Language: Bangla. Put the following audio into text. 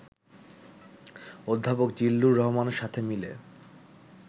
অধ্যাপক জিল্লুর রহমানের সাথে মিলে